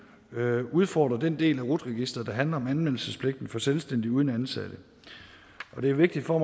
udfordrer den del af rut registeret der handler om anmeldelsespligten for selvstændige uden ansatte og det er vigtigt for